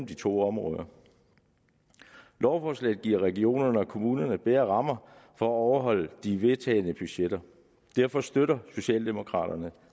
de to områder lovforslaget giver regionerne og kommunerne bedre rammer for at overholde de vedtagne budgetter derfor støtter socialdemokraterne